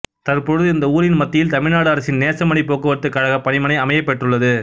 தற்பொழுது இந்த ஊரின் மத்தியில் தமிழ்நாடு அரசின் நேசமணி போக்குவரத்துக் கழக பணிமனை அமையப் பெற்றுள்ளது